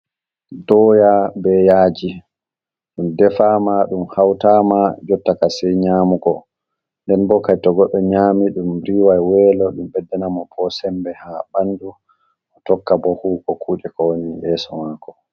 Doya be yaji, dum defama dum hautama jottaka sai nyamugo nden bo kai to goddo nyami dum riwai welo ɗum beddana mo bo sembe ha bandu, o tokka bo huwuko kude ko woni yeso mako.